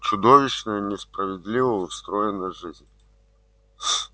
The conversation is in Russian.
как чудовищно несправедливо устроена жизнь